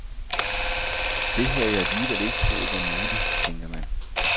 Det havde jeg alligevel ikke troet var muligt, tænker man.